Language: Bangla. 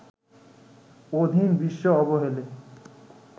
অধীন বিশ্ব অবহেলে